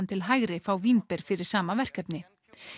til hægri fá vínber fyrir sama verkefni